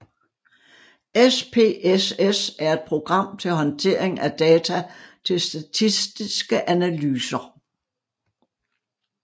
SPSS er et program til håndtering af data til statistiske analyser